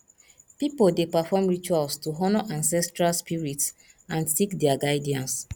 pipo dey perform rituals to honor ancestral spirits and seek dia guidance